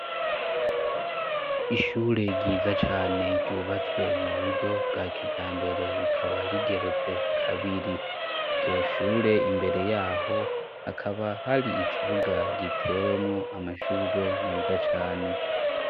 Ishure ryiza cane ryubatswe mu buryo bwa kijambere, rikaba rigeretse kabiri. Iryo shure imbere y'aho, hakaba har'ikibuga gitewemwo amashurwe meza cane.